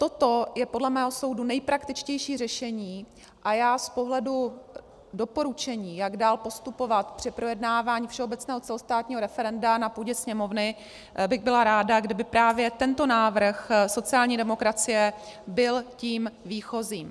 Toto je podle mého soudu nejpraktičtější řešení a já z pohledu doporučení, jak dál postupovat při projednávání všeobecného celostátního referenda na půdě Sněmovny, bych byla ráda, kdyby právě tento návrh sociální demokracie byl tím výchozím.